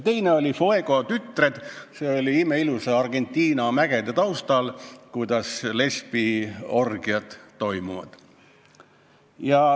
Teine film oli "Fuego tütred", milles näidati imeilusa Argentina mägede taustal, kuidas lesbiorgiad toimuvad.